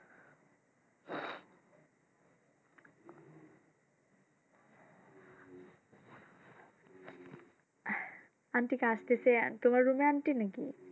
Aunty কী আসতেছে? তোমার room এ aunty নাকি?